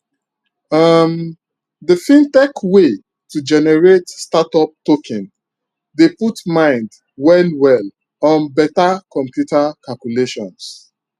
um d fintech way to generate startup token dey put mind well well on beta computer calculations